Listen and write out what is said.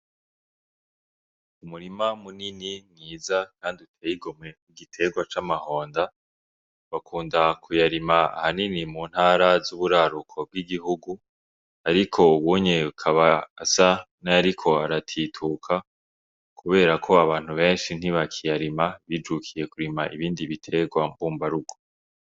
Umurima munini mwiza kandi uteye igomwe w'igiterwa c'amahonda, bakunda kuyarima ahanini mu ntara z'uburaruko bw'igihugu ariko ubu akaba asa nayariko aratituka kubera ko abantu benshi ntibakiyarima, bijukiye kurima ibindi biterwa mbumba rugo.